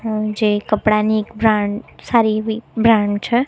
આ જે કપડાની એક બ્રાન્ડ સારી એવી બ્રાન્ડ છે.